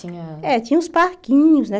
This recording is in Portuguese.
Tinha... É, tinha uns parquinhos, né?